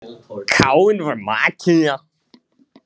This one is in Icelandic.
Káinn, hvað er í matinn á fimmtudaginn?